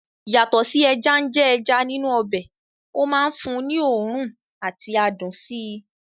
Yàtọ̀ sí ẹja ń jẹ́ ẹja nínú ọbẹ̀, ó máa ń fún un ní òórùn àti adùn sí i